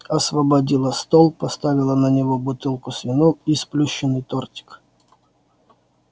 освободила стол поставила на него бутылку с вином и сплющенный тортик